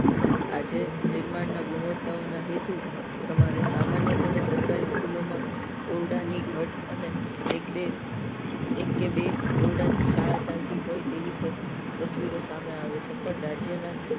આજે નિર્માણ ના ગુણવતાઓ ના હેતુ પ્રમાણે સામાન્ય પણ સરકાર સ્કૂલ માં ઓરડાની ઘટ અને એક બે એક બે ઓરડા થી શાળા ચાલતી હોય તેવી તસ્વીરો સામે આવે છે પણ રાજ્ય ના